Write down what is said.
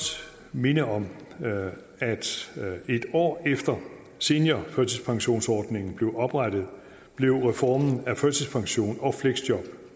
minde om at en år efter seniorførtidspensionsordningen blev oprettet blev reformen af førtidspension og fleksjob